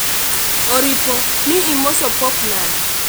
oripo ni imoso pope nade?